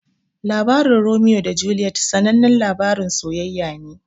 Labarin Romeo da Juliet sanannan labarin sayayya ne.